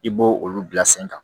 I b'o olu bila sen kan